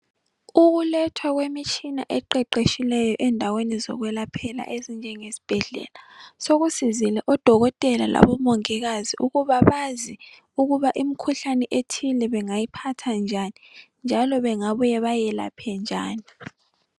Ukulethwa kwemitshina eqeqetshileyo endaweni zokwelaphela ezinjengezibhedlela sokusizile odokotela labomongikazi ukuba bazi ukuba imikhuhlane ethile bangayiphatha njani njalo bengabuya bayelaphe njani.